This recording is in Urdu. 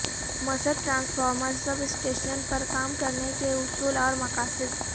مست ٹرانسفارمر سب سٹیشن پر کام کرنے کے اصول اور مقاصد